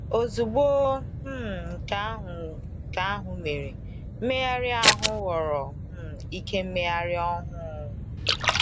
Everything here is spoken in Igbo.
Ozugbo um nke ahụ nke ahụ mere, mmegharị ahụ ghọrọ um ike mmegharị ọhụụ.